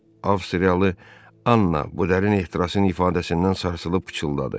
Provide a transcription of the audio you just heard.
Avstriyalı Anna bu dərin ehtirasın ifadəsindən sarsılıb pıçıldadı.